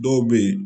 Dɔw bɛ yen